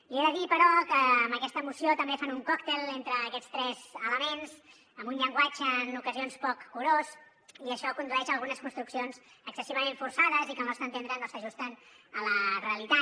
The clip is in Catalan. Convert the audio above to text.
li he de dir però que amb aquesta moció també fan un còctel entre aquests tres elements amb un llenguatge en ocasions poc curós i això condueix a algunes construccions excessivament forçades i que al nostre entendre no s’ajusten a la realitat